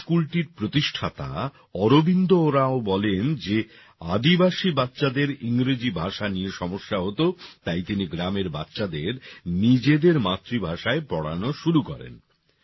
এই স্কুলটির প্রতিষ্ঠাতা অরবিন্দ ওরাঁও বলেন যে আদিবাসী বাচ্চাদের ইংরেজি ভাষা নিয়ে সমস্যা হত তাই তিনি গ্রামের বাচ্চাদের নিজেদের মাতৃভাষায় পড়ানো শুরু করেন